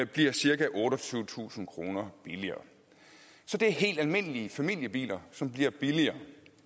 bliver cirka otteogtyvetusind kroner billigere så det er helt almindelige familiebiler som bliver billigere